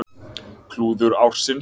Klúður ársins?